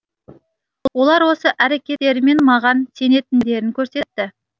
олар осы әрекеттерімен маған сенетіндерін көрсетті